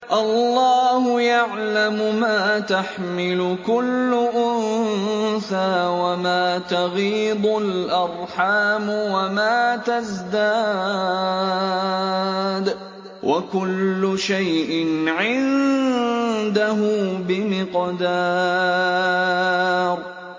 اللَّهُ يَعْلَمُ مَا تَحْمِلُ كُلُّ أُنثَىٰ وَمَا تَغِيضُ الْأَرْحَامُ وَمَا تَزْدَادُ ۖ وَكُلُّ شَيْءٍ عِندَهُ بِمِقْدَارٍ